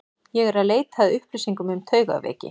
Ég er eð leita að upplýsingum um taugaveiki.